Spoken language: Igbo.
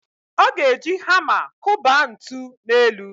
Ọ ga-eji hama kụba ntu n'elu.